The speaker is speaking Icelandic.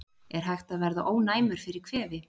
Er hægt að verða ónæmur fyrir kvefi?